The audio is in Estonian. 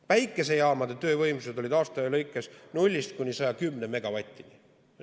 Päikesejaamade töövõimsus oli aasta lõikes 0–110 megavatti.